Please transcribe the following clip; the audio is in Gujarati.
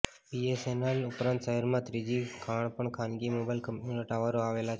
બીએસએનએલ ઉપરાંત શહેરમાં બીજી ત્રણ ખાનગી મોબાઈલ કંપનીઓના ટાવરો આવેલા છે